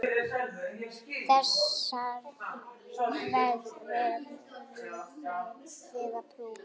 Þessar verðið þið að prófa.